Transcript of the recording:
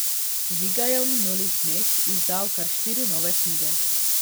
Žiga je v minulih dneh izdal kar štiri nove knjige.